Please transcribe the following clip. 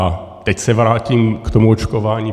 A teď se vrátím k tomu očkování.